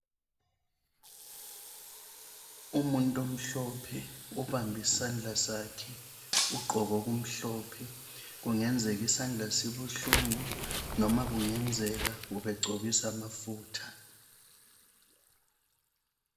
Umuntu umhlophe ubambe isandla sakhe ugqoke okumhlophe, kungenzeka isandla sibuhlungu noma kungenzeka ubegcobisa amafutha.